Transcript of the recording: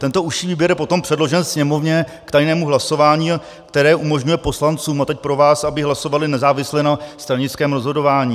Tento užší výběr je potom předložen Sněmovně k tajnému hlasování, které umožňuje poslancům - a teď pro vás - aby hlasovali nezávisle na stranickém rozhodování.